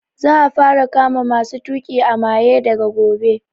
Za a fara kama masu tuƙi a maye daga gobe